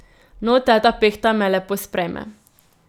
No, teta Pehta me lepo sprejme.